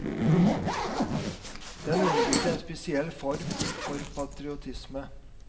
Den underbygde en spesiell form for patriotisme.